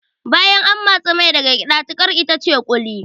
Bayan an matsi mai daga gyada tiƙar itace ƙuli